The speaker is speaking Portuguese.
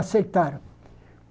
Aceitaram.